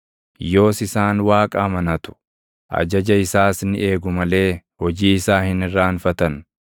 Yoos isaan Waaqa amanatu; ajaja isaas ni eegu malee hojii isaa hin irraanfatan.